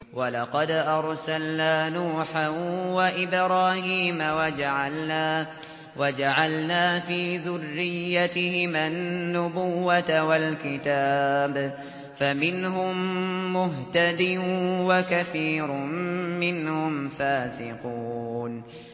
وَلَقَدْ أَرْسَلْنَا نُوحًا وَإِبْرَاهِيمَ وَجَعَلْنَا فِي ذُرِّيَّتِهِمَا النُّبُوَّةَ وَالْكِتَابَ ۖ فَمِنْهُم مُّهْتَدٍ ۖ وَكَثِيرٌ مِّنْهُمْ فَاسِقُونَ